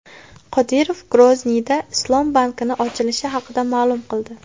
Qodirov Grozniyda islom bankining ochilishi haqida ma’lum qildi.